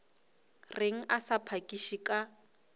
reng a sa phakiše ka